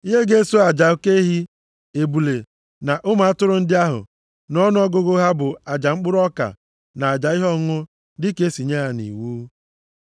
Ihe ga-eso aja oke ehi, ebule na ụmụ atụrụ ndị ahụ nʼọnụọgụgụ ha bụ aja mkpụrụ ọka na aja ihe ọṅụṅụ dịka e si nye ya nʼiwu.